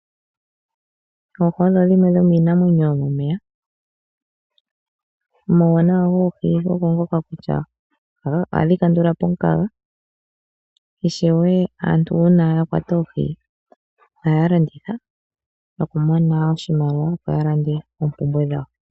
Oohi odho dhimwe dhomiinamwenyo yomomeya, omauwanawa goohi ogo ngoka kutya ohadhi kandulapo omukaga ishewe aantu uuna yakwata oohi ohaya landitha nokumona woo oshimaliwa opo yalande oompumbwe dhawo.